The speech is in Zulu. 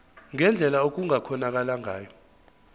ngendlela okungakhonakala ngayo